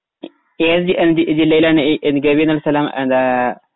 ഏതു ജി ജില്ലയിലാണ് ഏ ഏ ഗവി എന്ന സ്ഥലം ആ എന്താ